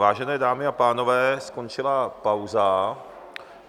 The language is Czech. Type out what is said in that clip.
Vážené dámy a pánové, skončila pauza.